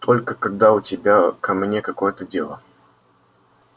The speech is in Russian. только когда у тебя ко мне какое-то дело